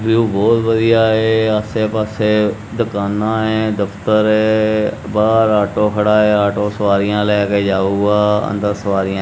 view ਬਹੁਤ ਵਧੀਆ ਹੈ ਆਸੇ ਪਾਸੇ ਦੁਕਾਨਾਂ ਹੈ ਦਫਤਰ ਹੈ ਬਾਹਰ ਆਟੋ ਖੜਾ ਹੈ ਆਟੋ ਸਵਾਰੀਆਂ ਲੈ ਕੇ ਜਾਊਗਾ ਅੰਦਰ ਸਵਾਰੀਆਂ--